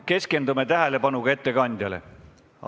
Keskendume tähelepanuga ettekandjale!